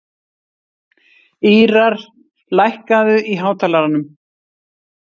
Ýrar, lækkaðu í hátalaranum.